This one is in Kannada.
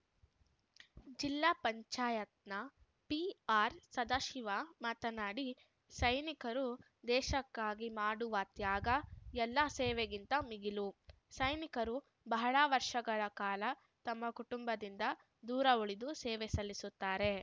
ಜಿಲ್ಲಾ ಪಂಚಾಯತ್ನ ಪಿಆರ್‌ಸದಾಶಿವ ಮಾತನಾಡಿ ಸೈನಿಕರು ದೇಶಕ್ಕಾಗಿ ಮಾಡುವ ತ್ಯಾಗ ಎಲ್ಲಾ ಸೇವೆಗಿಂತ ಮಿಗಿಲು ಸೈನಿಕರು ಬಹಳ ವರ್ಷಗಳ ಕಾಲ ತಮ್ಮ ಕುಟುಂಬದಿಂದ ದೂರ ಉಳಿದು ಸೇವೆ ಸಲ್ಲಿಸುತ್ತಾರೆ